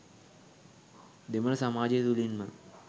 දෙමළ සමාජය තුළින්ම